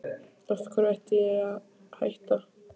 Af hverju ætti ég að hætta?